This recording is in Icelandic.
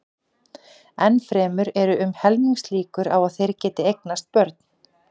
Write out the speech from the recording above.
Enn fremur eru um helmingslíkur á að þeir geti eignast börn.